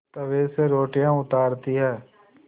तवे से रोटियाँ उतारती हैं